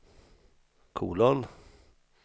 kolon